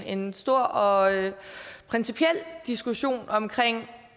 en stor og principiel diskussion om